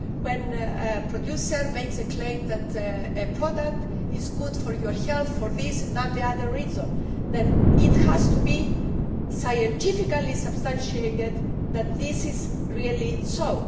When a producer makes a claim that a product is good for your health, for this or that reason, then it has to be scientifically substantiated that this really is so.